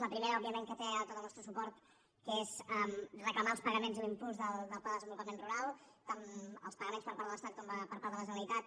la primera òbviament que té tot el nostre suport que és reclamar els pagaments i l’impuls del pla de desenvolupament rural tant els pagaments per part de l’estat com per part de la generalitat